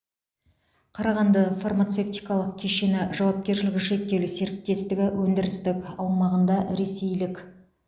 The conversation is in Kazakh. қарағанды фармацевтикалық кешені жауапкершілігі шектеулі серіктестігі өндірістік аумағында ресейлік